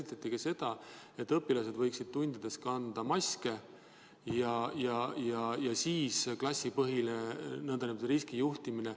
Kas käsitleti seda, et õpilased võiksid tundides kanda maske, ja seda nn klassipõhist riski juhtimist?